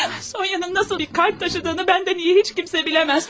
Sonya'nın necə bir qəlb daşıdığını məndən yaxşı heç kim bilməz.